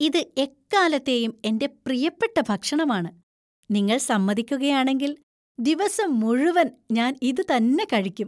ഇത് എക്കാലത്തെയും എന്‍റെ പ്രിയപ്പെട്ട ഭക്ഷണമാണ്, നിങ്ങൾ സമ്മതിക്കുകയാണെങ്കിൽ , ദിവസം മുഴുവൻ ഞാൻ ഇത് തന്നെ കഴിക്കും.